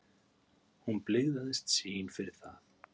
Hún blygðaðist sín fyrir það.